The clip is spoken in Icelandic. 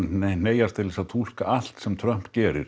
hneigjast til að túlka allt sem Trump gerir